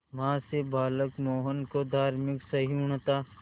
मां से बालक मोहन को धार्मिक सहिष्णुता